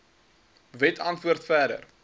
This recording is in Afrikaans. wet antwoord verder